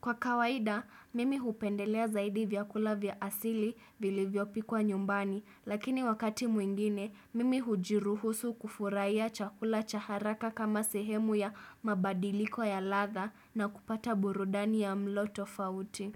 Kwa kawaida, mimi hupendelea zaidi vyakula vya asili vili vyopi kwa nyumbani, lakini wakati mwingine, mimi hujiruhusu kufuraia chakula chaharaka kama sehemu ya mabadiliko ya ladha na kupata burudani ya mloto fauti.